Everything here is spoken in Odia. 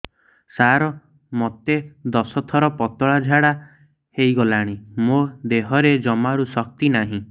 ସାର ମୋତେ ଦଶ ଥର ପତଳା ଝାଡା ହେଇଗଲାଣି ମୋ ଦେହରେ ଜମାରୁ ଶକ୍ତି ନାହିଁ